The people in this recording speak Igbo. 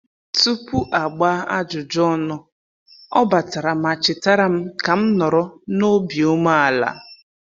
Tupu a gbaa ajụjụ ọnụ, ọ batara ma chetara m ka m nọrọ n'obi ume ala